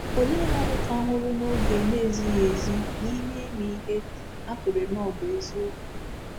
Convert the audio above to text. Ole mmadụ ka nwụrụ n’oge na-ezighị ezi n’ime ime ihe ha kweere na ọ bụ eziokwu?